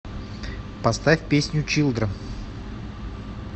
поставь песню чилдрен